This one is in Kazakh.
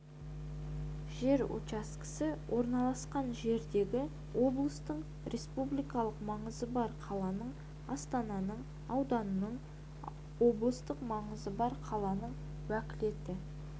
жер учаскесі орналасқан жердегі облыстың республикалық маңызы бар қаланың астананың ауданның облыстық маңызы бар қаланың уәкілетті